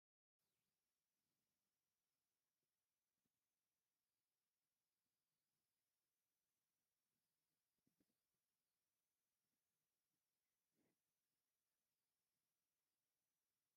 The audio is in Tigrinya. ሓውሲ ገጠር ዝመስል ከባቢ እኒሆ፡፡ እዚ ከባቢ ደስ ዝብል ገፀ ምድሪ ዘለዎ እዩ፡፡ ከባቢኡ ዝተወሰኑ ተኽልታት እኔውዎ፡፡ ደስ ዝብል እዩ፡፡ ሰብ ኣብ ገጠር ምንባር ዝፀልእ ንምንታይ እዩ?